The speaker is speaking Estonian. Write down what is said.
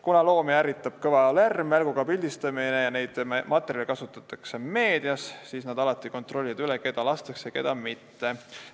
Kuna loomi ärritab kõva lärm ja välguga pildistamine ning neid materjale kasutatakse meedias, siis kasvanduses alati kontrollitakse üle, keda sinna lasta, keda mitte.